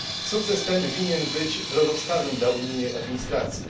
Sukces ten winien być drogowskazem dla unijnej administracji.